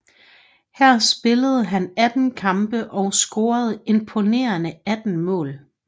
Her spillede han 18 kampe og scorede imponerende 18 mål